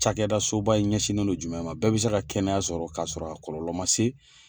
Cakɛda so ba in ɲɛsinnen do jumɛn ma bɛɛ bɛ se ka kɛnɛya sɔrɔ k'a sɔrɔ a kɔlɔlɔ man se